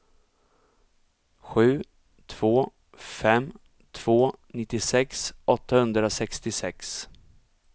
sju två fem två nittiosex åttahundrasextiosex